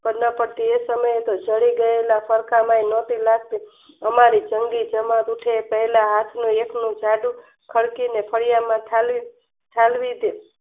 તે સમયે જળી ગયેલા સરકામાં નાતી લગતી અમારી સંગી તેમાં પૂછે કોયના હાથ નું એટલું ખળચું ને ફળીયા માં ખાલી ઠાલવી દે